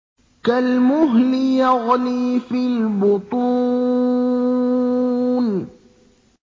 كَالْمُهْلِ يَغْلِي فِي الْبُطُونِ